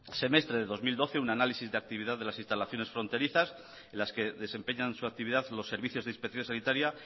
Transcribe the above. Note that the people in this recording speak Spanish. semestre de dos mil doce un análisis de actividad de las instalaciones fronterizas en las que desempeñan su actividad los servicios de inspección sanitaria